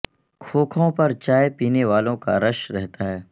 کھوکھوں پر چائے پینے والوں کا رش رہتا ہے